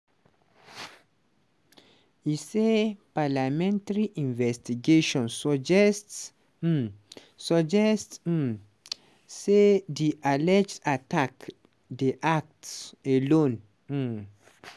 e say palamentary investigation suggest um suggest um say di alleged attack dey act alone. um